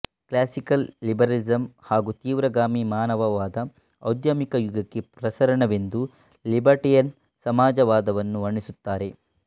classical liberalism ಹಾಗು ತೀವ್ರಗಾಮಿ ಮಾನವವಾದದ ಔದ್ಯಮಿಕ ಯುಗಕ್ಕೆ ಪ್ರಸರಣವೆಂದು ಲಿಬೆರ್ಟೇರಿಯನ್ ಸಮಾಜವಾದವನ್ನು ವರ್ಣಿಸುತ್ತಾರೆ